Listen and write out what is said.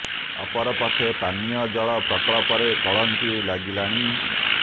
ଅପର ପକ୍ଷେ ପାନୀୟ ଜଳ ପ୍ରକଳ୍ପ ରେ କଳଙ୍କି ଲାଗିଲାଣି